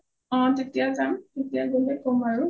অ তেতিয়া যাম তেতিয়া গলে কম আৰু